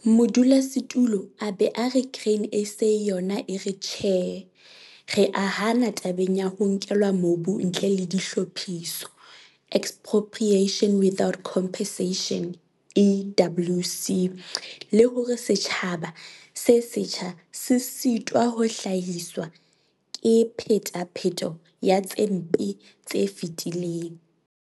Modulasetulo a be a re Grain SA yona e re 'Tjhe' re a hana tabeng ya 'Ho nkelwa mobu ntle ho dihlaphiso', Expropriation Without Compensation, EWC, le hore 'setjhaba se setjha se sitwa ho hlahiswa ke phetapheto ya tse mpe tse fetileng'.